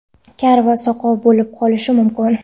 kar va soqov bo‘lib qolishi mumkin.